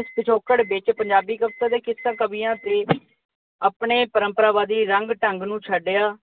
ਇਸ ਪਿਛੋਕੜ ਵਿੱਚ ਪੰਜਾਬੀ ਕਵੀਆਂ ਅਤੇ ਕਿੱਸਾ ਕਵੀਆਂ ਨੇ ਆਪਣੇ ਪਰੰਪਰਾਵਾਦੀ ਰੰਗ-ਢੰਗ ਨੂੰ ਛੱਡਿਆ।